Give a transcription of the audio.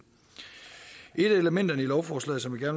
et af elementerne i lovforslaget som jeg